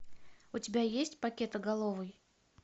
у тебя есть пакетоголовый